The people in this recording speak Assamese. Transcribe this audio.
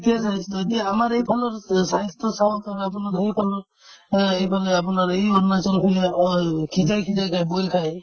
এইটোয়ে স্বাস্থ্য যদি আমাৰ এইফালৰ স্বাস্থ্য চাও to আপোনাৰ সেইফালৰ অ এইফালে আপোনাৰ এই অ সিজাই সিজাই যে boil খাই